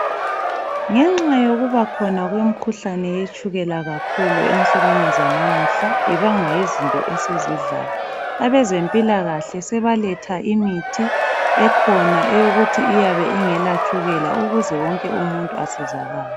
Ngenxa yokubakhona kwemkhuhlane yetshukela kakhulu ensukwini zanamuhla. Ibangwa yizinto esizidlayo. Abezempilakahle sebaletha imithi ekhona, eyokuthi iyabe ingela tshukela. Ukuze wonke umuntu asizakale.